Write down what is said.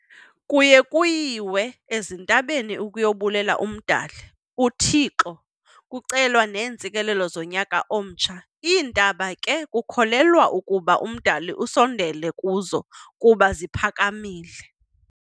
Kuye kuyiwe ezintabeni ukuyobulela umdali u 'Thixo' kucelwa neentsikelelo zonyaka omtsha, iintaba ke kukholelwa ukuba umdali asondele kuzo kuba ziphakamile.